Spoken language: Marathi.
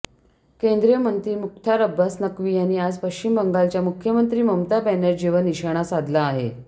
केंद्रीय मंत्री मुख्तार अब्बास नक्वी यांनी आज पश्चिम बंगालच्या मुख्यमंत्री ममता बॅनर्जींवर निशाणा साधला आहे